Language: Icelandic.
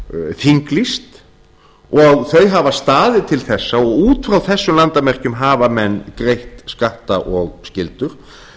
þinglýst og þau hafa staðið til þessa og út frá þessum landamerkjum hafa menn greitt skatta og skyldur